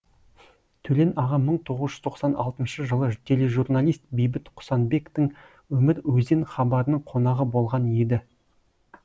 төлен аға мың тоғыз жүз тоқсан алтыншы жылы тележурналист бейбіт құсанбектің өмір өзен хабарының қонағы болған еді